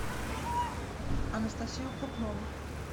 анастасию крупнову